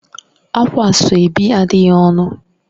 Ákwá Asoebi adịghị ọnụ